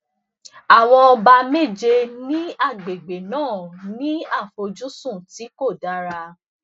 àwọn ọba méje ní agbègbè náà ní àfojúsùn tí um kò um dára